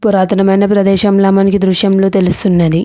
పురాతనమైన ప్రదేశంలా మనకి ఈ దృశ్యంలో తెలుస్తుంది.